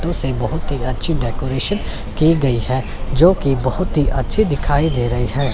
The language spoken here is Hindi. दूसरी बहोत ही अच्छी डेकोरेशन की गई है जोकि बहोत ही अच्छी दिखाई दे रही है।